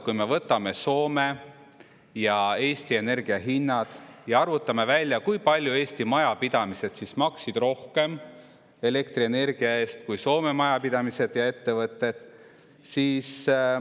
Võtame Soome ja Eesti energia hinnad ja arvutame välja, kui palju eelmisel aastal Eesti majapidamised maksid rohkem elektrienergia eest kui Soome majapidamised ja ettevõtted.